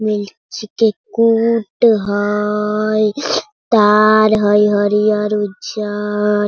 Milk चिके कूट हई ताड़ हई हरिहर-उज्जर।